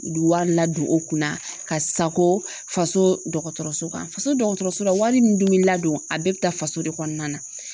U bɛ wari ladon u kunna ka sako faso dɔgɔtɔrɔso kan faso dɔgɔtɔrɔso la wari nin dumuni ladon a bɛɛ bɛ taa faso de kɔnɔna na